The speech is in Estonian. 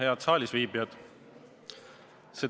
Head saalisviibijad!